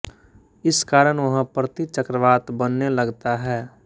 इस कारण वहाँ प्रति चक्रवात बनने लगता है